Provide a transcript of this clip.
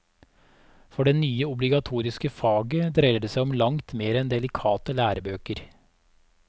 For det nye obligatoriske faget dreier seg om langt mer enn delikate lærebøker.